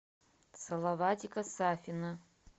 салаватика сафина